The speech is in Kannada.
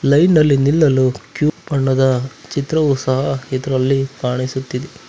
ಲೈನ್ನಲ್ಲಿ ನಿಲ್ಲಲು ಕ್ಯೂ ಬಣ್ಣದ ಚಿತ್ರವು ಸಹ ಕಾಣಿಸುತ್ತಿದೆ.